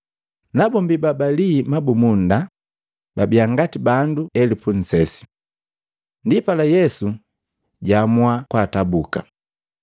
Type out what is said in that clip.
Nabombi babalii mabumunda babii ngati bandu makomi nnsesi komi. Ndipala Yesu jwaamua kwaatabuka,